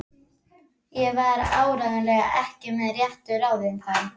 Ég var áreiðanlega ekki með réttu ráði þá.